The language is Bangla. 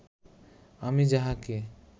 আমি যাহাকে